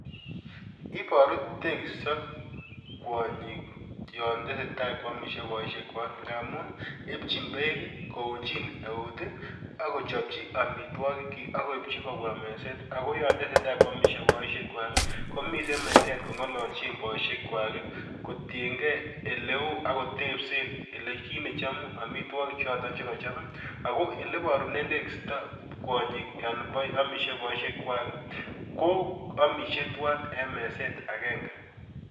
Ibaru tekisto kwonyik yon teseta kwamisie boisiekwak ngamun ipchin beek kounjin eut ak kochopchi amitwogikyik ak koipchi kobwa meset ago yon teseta kwamisie boisiekkwak komiten meset kongalaljin boisiekwak kotienge eleu agotepsen kit nechamu amitwogik choton chekachop ago elebarunen tekista kwonyik yon amisie boisyek kwak ko amisie tuwan en meset agenge.